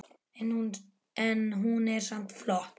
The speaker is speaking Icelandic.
En hún er samt flott.